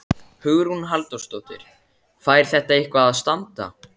Hugrún Halldórsdóttir: Fær þetta eitthvað að standa?